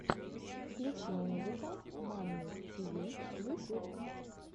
включи музыка мамми тиви ютюб